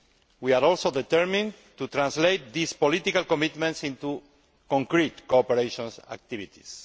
We are also determined to translate these political commitments into concrete cooperation activities.